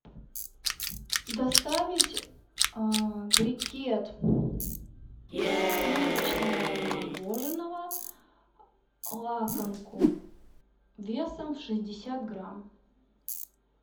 доставить брикет сливочного мороженого лакомку весом в шестьдесят грамм